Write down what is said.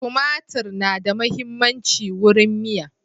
Tumatir na da muhimmancin wurin miya